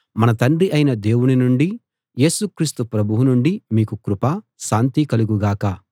మన తండ్రి అయిన దేవుని నుండీ యేసు క్రీస్తు ప్రభువు నుండీ మీకు కృప శాంతి కలుగు గాక